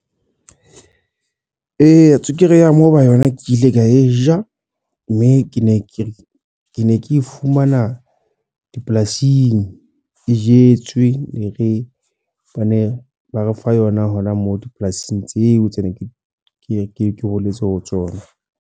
Eya, tswekere ya moba yona ke ile ka e ja. Mme ke ne ke, ke ne ke e fumana dipolasing e jetswe. Ne re, bane ba re fa yona hona moo dipolasing tseo tse ne ke holetse ho tsona.